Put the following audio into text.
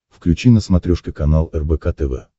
включи на смотрешке канал рбк тв